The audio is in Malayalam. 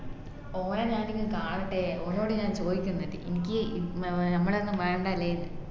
ഓന ഞാൻ ഒന്ന് കാണട്ടെ ഓനോട്‌ ഞാൻ ചോയ്ക്കിന്നുണ്ട് ഇനിക്ക് ഞമ്മളെ ഒന്നും വേണ്ട ല്ലേ ന്ന്